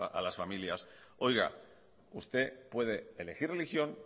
a las familias oiga usted puede elegir religión